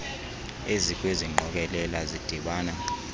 ezikwezi ngqokelela zidibana